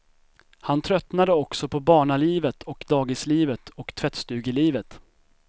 Han tröttnade också på barnalivet och dagislivet och tvättstugelivet.